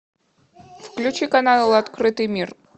включи канал открытый мир